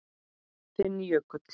Þinn Jökull.